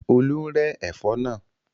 Olú ń rẹ́ ẹ̀fọ́ náà.